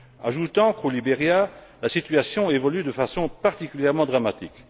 Ajoutons qu'au Liberia, la situation évolue de façon particulièrement dramatique.